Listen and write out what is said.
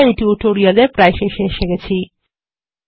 এখন আমরা এই টিউটোরিয়াল এর শেষে এসেছি